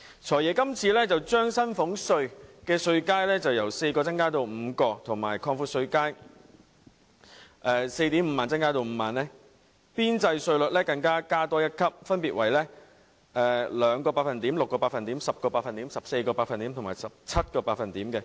"財爺"今次建議把薪俸稅稅階由4個增加至5個，邊際稅率分別訂為 2%、6%、10%、14% 及 17%， 並把稅階由 45,000 元擴闊至 50,000 元。